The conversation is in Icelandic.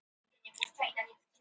Hraðlest hvarf í flóðöldunni